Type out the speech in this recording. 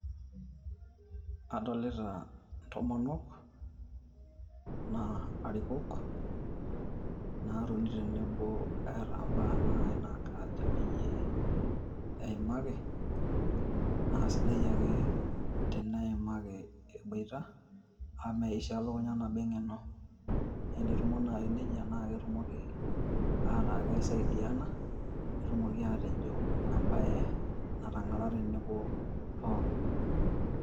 Adolita intomonok naa arikok, naatoni tenebo eeta embaa nai naajo peyie eimaki naa sidai ake eneimaki eboita amu meishaa elukunya nabo eng'eno naa enetumo naaji nejia naa ketumoki aaku keisaidiana netumoki aatejo emabe natang'ara tenebo pookin.